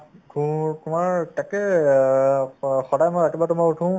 খো~ খোৱাৰ তাকেই অহ্ অ সদায় সদায় ৰাতিপুৱাতো মই উঠো